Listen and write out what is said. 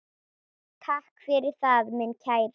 Takk fyrir það, minn kæri.